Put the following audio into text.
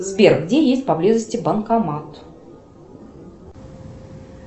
сбер где есть по близости банкомат